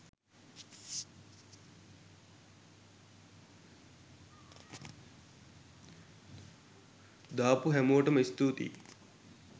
දාපු හැමෝටම ස්තූතියි